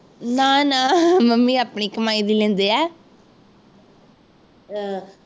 ਨਾ ਨਾ ਮੰੰਮੀ ਆਪਣੀ ਕਮਾਈ ਦੀ ਲੈਂਦੇ ਆ ਅਹ